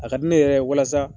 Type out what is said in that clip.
A ka di ne yɛrɛ walasa